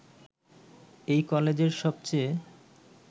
এই কলেজের সবচেয়ে